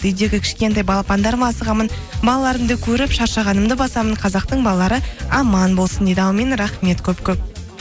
үйдегі кішкентай балапандарыма асығамын балаларымды көріп шаршағанымды басамын қазақтың балалары аман болсын дейді әумин рахмет көп көп